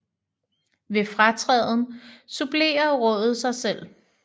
Ved fratræden supplerer rådet sig selv